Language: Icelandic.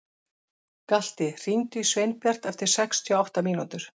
Galti, hringdu í Sveinbjart eftir sextíu og átta mínútur.